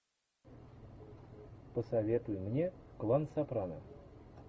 посоветуй мне клан сопрано